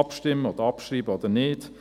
abstimmen oder abschreiben werden oder nicht.